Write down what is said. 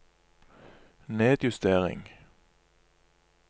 nedjustering